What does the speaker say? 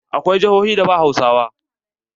Akwai jihohin da ba Hausawa.